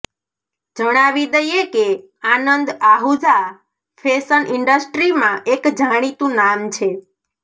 જણાવી દઈએ કે આનંદ આહુજા ફેશન ઇન્ડસ્ટ્રીમાં એક જાણીતું નામ છે